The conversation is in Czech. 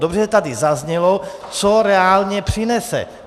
Dobře, že tady zaznělo, co reálně přinese.